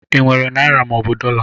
I nwere naịra mọobụ dọla?